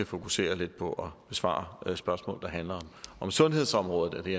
fokusere lidt på at besvare spørgsmål der handler om sundhedsområdet og det